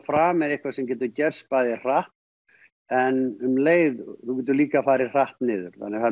frami er eitthvað sem getur gerst bæði hratt en um leið geturðu líka farið hratt niður þannig að það